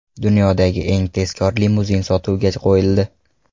Dunyodagi eng tezkor limuzin sotuvga qo‘yildi .